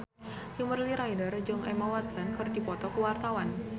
Kimberly Ryder jeung Emma Watson keur dipoto ku wartawan